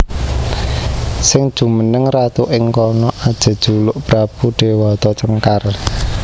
Sing jumeneng ratu ing kono ajejuluk Prabu Déwata Cengkar